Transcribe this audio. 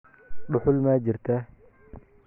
Dhuxul ma jirtaa?